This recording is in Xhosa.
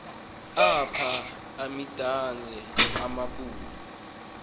apha imidange amambalu